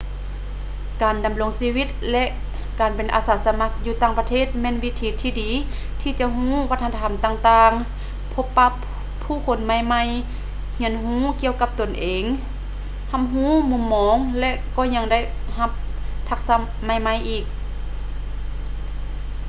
ການດຳລົງຊີວິດ ແລະ ການເປັນອາສາສະໝັກຢູ່ຕ່າງປະເທດແມ່ນວິທີທີ່ດີທີ່ຈະຮູ້ວັດທະນະທຳຕ່າງໆ ພົບປະຜຸ້ຄົນໃໝ່ໆ ຮຽນຮູ້ກ່ຽວກັບຕົນເອງ ຮັບຮູ້ມຸມມອງ ແລະ ກໍຍັງຈະໄດ້ຮັບທັກສະໃໝ່ໆ